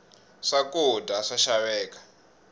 swa kudya swa xaveka